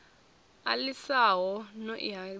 a lisani no i hadzinga